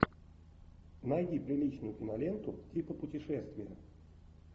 найди приличную киноленту типа путешествия